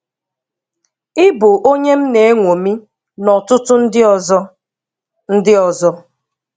Ị bụ onye m na eñwomi na ọtụtụ ndị ọzọ. ndị ọzọ.